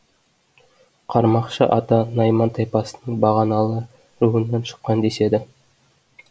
қармақшы ата найман тайпасының бағаналы руынан шыққан деседі